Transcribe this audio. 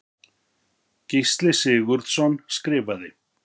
Gísli Sigurðsson skrifaði